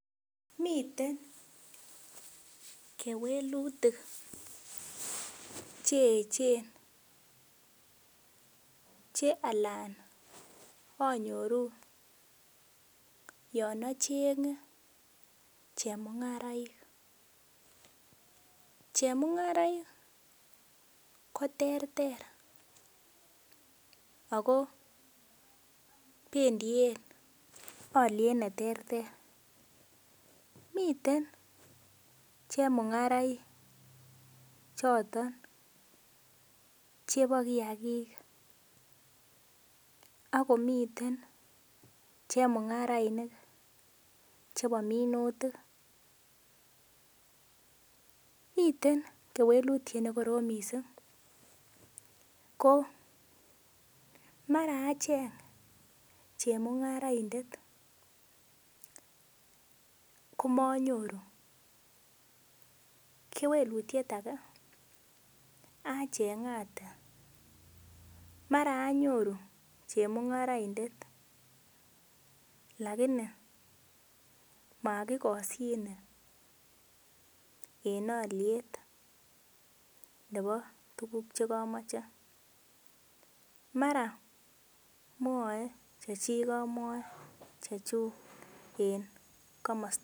Miten kewelutik cheechen che anan anyoru yon achenge chemungaraik. Chemungaraik koterter ago bendiyen alyet neterter. Miten chemungaraik choton chebo kiagik ak komiten chemungarainik chebo minutik. Miten kewelitiet ne korom mising ko mara acheng chemungaraindet komanyoru. Kewelutiet age achengate. Mara anyoru chemungaroindet lagini mokikosyine en olyet nebo tuguk che kamoche. Mara mwoe chechik amwoe chechuk en komosta.